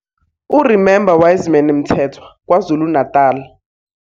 U-Remember Wiseman Mthethwa - KwaZulu - Natal